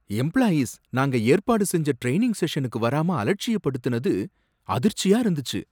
Employees நாங்க ஏற்பாடு செஞ்ச ட்ரெயினிங் செஷனுக்கு வராம அலட்சியப்படுதினது அதிர்ச்சியா இருந்துச்சு.